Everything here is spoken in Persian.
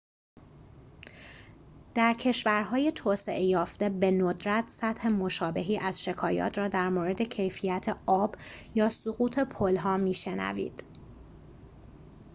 در کشورهای توسعه یافته بندرت سطح مشابهی از شکایات را درمورد کیفیت آب یا سقوط پلها می شنوید